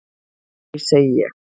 """Nei, segi ég."""